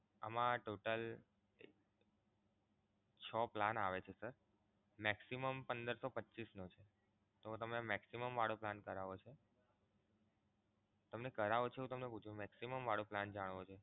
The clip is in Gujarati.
એમા total છ plan આવે છે sir maximum પંદર સો પચ્ચીસનો છે તો તમે maximum વાળો plan કરાવો છો? કરાવો છો તમને પૂછું maximum વાળો plan જાણવો છે?